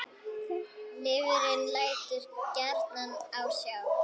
Lifrin lætur gjarnan á sjá.